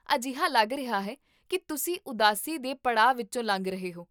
ਅਜਿਹਾ ਲੱਗ ਰਿਹਾ ਹੈ ਕੀ ਤੁਸੀਂ ਉਦਾਸੀ ਦੇ ਪੜਾਅ ਵਿੱਚੋਂ ਲੰਘ ਰਹੇ ਹੋ